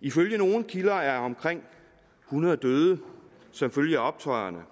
ifølge nogle kilder er omkring hundrede døde som følge af optøjerne